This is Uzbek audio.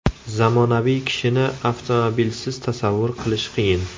Zamonaviy kishini avtomobilsiz tasavvur qilish qiyin.